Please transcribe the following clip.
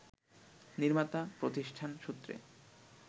নির্মাতা প্রতিষ্ঠান সূত্রে